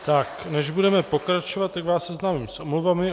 Tak, než budeme pokračovat, tak vás seznámím s omluvami.